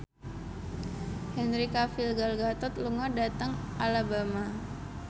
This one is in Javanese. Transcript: Henry Cavill Gal Gadot lunga dhateng Alabama